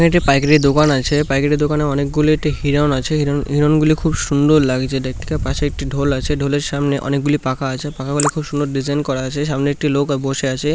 এটি পাইকারি দোকান আছে পাইকারি দোকান অনেকগুলি একটি হিরণ আছে হিরণগুলি খুব সুন্দর লাগছে দেখতে পাশে একটি ঢোল আছে ঢোল এর সামনে অনেকগুলি পাখা আছে পাখাগুলি খুব সুন্দর ডিজাইন করা আছে সামনে একটি লোক বসে আছে।